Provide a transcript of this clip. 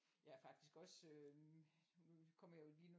Jeg er faktisk også øh nu kommer jeg jo lige nu